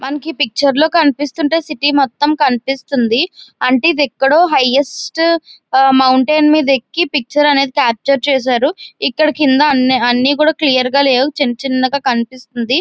మనకి ఈ పిక్చర్ లో కనిపిస్తుంటే సిటీ మొత్తం కనిపిస్తోంది. అంటే ఇది అక్కడో హైయెస్ట్ మౌంటైన్ మీద ఏకి పిక్చర్ అనేది క్యాప్చర్ చేశారు. ఇక్కడ కింద అన్అన్ని కూడా క్లియర్ గా లేవు చిన్నచిన్నవి కనిపిస్తుంది.